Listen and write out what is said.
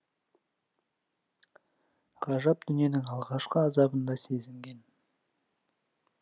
ғажап дүниенің алғашқы азабын да сезінген